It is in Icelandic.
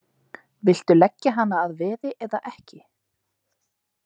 Viltu leggja hana að veði eða ekki?